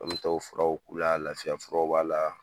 An furaw k'u y'a lafiya furaw b'a la.